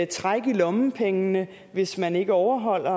træk i lommepengene hvis man ikke overholder